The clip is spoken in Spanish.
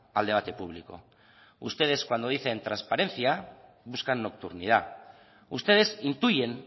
al debate público ustedes cuando dicen trasparencia buscan nocturnidad ustedes intuyen